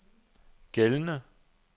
gældende